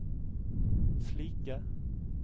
slike